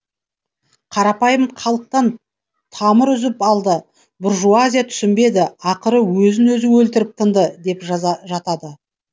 қарапайым халықтан тамыр үзіп алды буржуазия түсінбеді ақыры өзін өзі өлтіріп тынды деп жатады